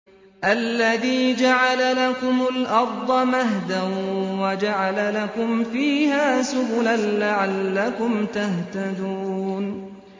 الَّذِي جَعَلَ لَكُمُ الْأَرْضَ مَهْدًا وَجَعَلَ لَكُمْ فِيهَا سُبُلًا لَّعَلَّكُمْ تَهْتَدُونَ